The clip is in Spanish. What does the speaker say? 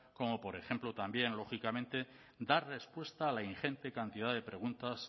como por ejemplo también lógicamente dar respuesta a la ingente cantidad de preguntas